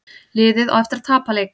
Liðið á eftir að tapa leik